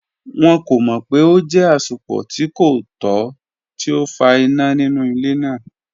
Wọn ko mọ pe o jẹ asopọ ti ko tọ ti o fa ina ninu ile naa.